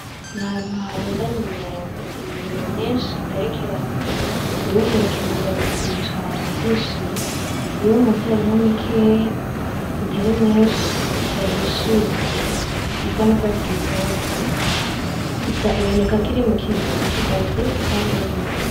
Ni ahantu harundanye imyembe , imyembe myinshi igerekeranye , iyo hejuru iratukuye cane irahishiye, iyo munsi harimwo mikeye itari myinshi idahishiye isa n'urwatsi rutoto , iboneka ko iri muki base gisa n'ubururu.